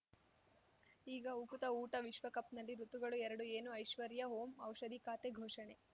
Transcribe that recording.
ಈಗ ಉಕುತ ಊಟ ವಿಶ್ವಕಪ್‌ನಲ್ಲಿ ಋತುಗಳು ಎರಡು ಏನು ಐಶ್ವರ್ಯಾ ಓಂ ಔಷಧಿ ಖಾತೆ ಘೋಷಣೆ